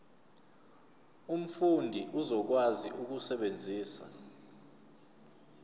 umfundi uzokwazi ukusebenzisa